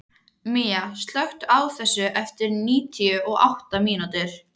Mía, slökktu á þessu eftir níutíu og átta mínútur.